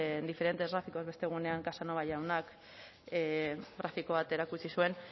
diferentes gráficos beste egunean casanova jaunak grafiko bat erakutsi zuen